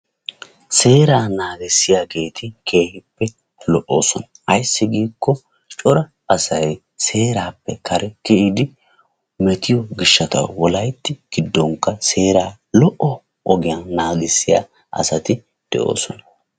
Seeraa naagissiyaageeti keehippe lo''oosona. Ayssi giikko cora asay seeraappe kare kiyidi metiyo gishshatawu wolaytti giddonkka seeraa lo"o ogiyan naagissiya asati de'oosona.